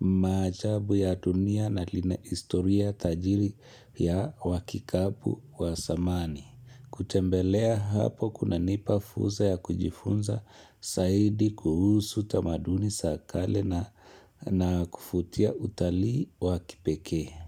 maajabu ya dunia na lina historia tajiri ya wakikapu wa zamani. Kutembelea hapo kuna nipafuza ya kujifunza zaidi kuhusu tamaduni zakale na kufutia utalii wakipeke.